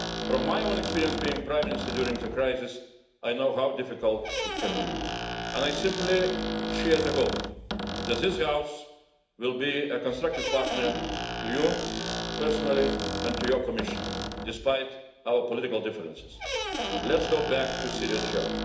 From my own experience of being Prime Minister during the crisis, I know how difficult it can be, and I simply share the hope that this House will be a constructive partner to you personally, and to your Commission, despite our political differences. Let's get back to the serious job.